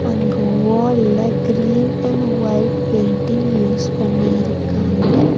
அங்கு வால்ல green and white painting use பண்ணி இருக்காங்க.